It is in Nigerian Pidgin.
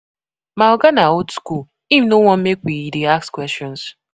My oga na old skool, im no want make we dey ask questions.